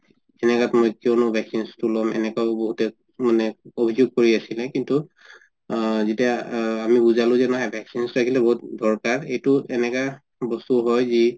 সেনেকাত মই কিয়নো vaccines তো লব এনেকাও বহুতে মানে অভিযোগ কৰি অছিলে কিন্তু আ যেতিয়া আ আমি বুজালো যে নাই vaccines লাগিলে বহুত দৰকাৰ এইটো এনেকা বস্তু হয় যি